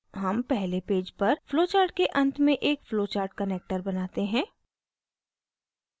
हम पहले पेज पर flowchart के अंत में एक flowchartconnector बनाते हैं